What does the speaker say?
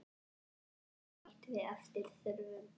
Vatni bætt við eftir þörfum.